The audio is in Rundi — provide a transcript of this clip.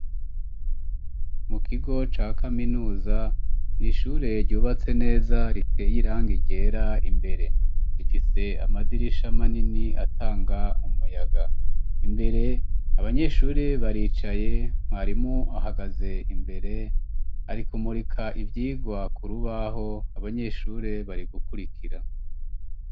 Mu kigo ca Kaminuza n'ishure ryubatse neza riteye irangi ryera imbere rifise amadirisha manini atanga umuyaga imbere abanyeshuri baricaye mwarimu ahagaze imbere ari kumurika ivyigwa kurubaho abanyeshuri bari gukurikira.